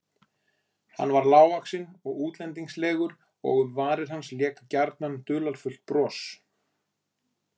Hann var lágvaxinn og útlendingslegur og um varir hans lék gjarnan dularfullt bros.